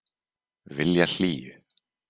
Vilja hlýju.